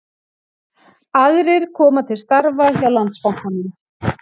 Aðrir koma til starfa hjá Landsbankanum